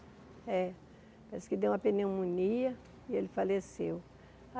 É parece que deu uma pneumonia e ele faleceu.